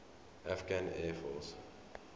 afghan air force